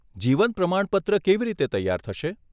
જીવન પ્રમાણપત્ર કેવી રીતે તૈયાર થશે?